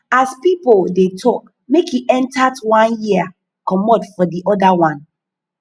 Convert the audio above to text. as pipo de talk make e entert one ear comot for di other one